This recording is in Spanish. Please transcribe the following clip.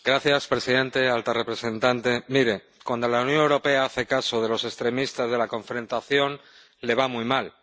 Señor presidente, señora alta representante, miren, cuando la Unión Europea hace caso de los extremistas, de la confrontación, le va muy mal.